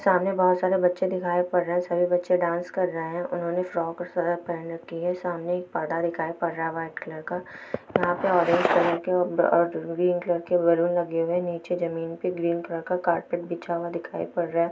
सामने बहुत सारे बच्चे दिखाई पड़ रहे हैं| सभी बच्चे डांस कर रहे हैं| उन्होंने फ्रॉक और श्रग पहनी राखी है| सामने एक प्रदा दिखाई पद रहा है वाइट कलर का | और यहाँ पे ऑरेंज कलर के और ग्रेन कलर के बैलून लगे हुए है| नीचे जमीन पर ग्रीन कलर का कारपेट बिछा हुआ दिखाई पड़ रहा है।